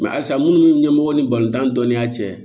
halisa munnu ni ɲɛmɔgɔ ni balontan dɔnniya cɛ